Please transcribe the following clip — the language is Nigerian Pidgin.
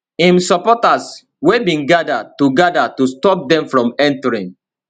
im supporters wey bin gada to gada to stop dem from entering